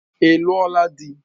Ị lụo la di?